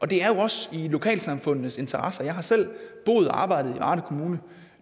det er jo også i lokalsamfundenes interesser jeg har selv boet og arbejdet i varde kommune og